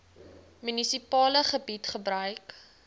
munisipale gebied gebruik